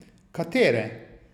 Katere?